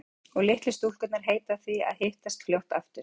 Og litlu stúlkurnar heita því að hittast fljótt aftur.